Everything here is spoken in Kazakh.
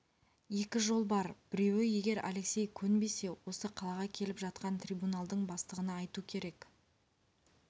екі жол бар біреуі егер алексей көнбесе осы қалаға келіп жатқан трибуналдың бастығына айту керек